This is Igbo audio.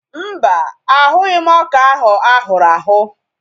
Mba, ahụghị m ọka ahụ ahụrụ ahụ̀